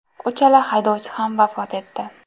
Uchala haydovchi ham vafot etdi.